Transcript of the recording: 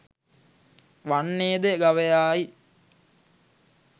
වන්නේ ද ගවයායි.